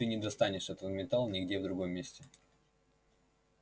ты не достанешь этот металл нигде в другом месте